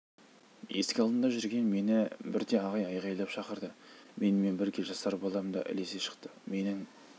есік алдында жүрген мені бірде ағай айғайлап шақырды менімен бірге жасар балам да ілесе шықты менің